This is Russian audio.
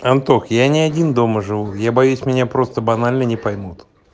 антох я не один дома живу я боюсь меня просто банально не поймут